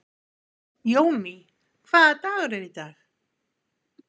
Jóný, hvaða dagur er í dag?